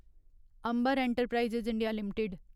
Ambar enterprises India limited